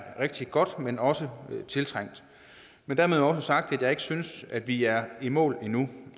rigtig godt men også tiltrængt men dermed også sagt at jeg ikke synes at vi er i mål endnu